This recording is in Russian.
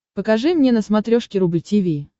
покажи мне на смотрешке рубль ти ви